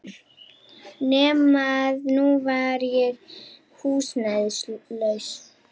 Nema að nú var ég húsnæðislaus.